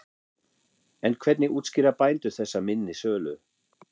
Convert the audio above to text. En hvernig útskýra bændur þessa minni sölu?